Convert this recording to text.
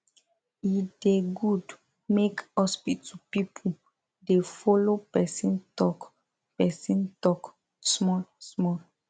e da good make hospital pipu da follo persin talk persin talk small small